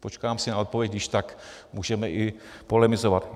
Počkám si na odpověď, když tak můžeme i polemizovat.